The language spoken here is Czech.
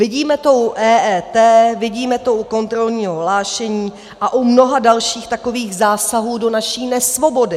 Vidíme to u EET, vidíme to u kontrolního hlášení a u mnoha dalších takových zásahů do naší nesvobody.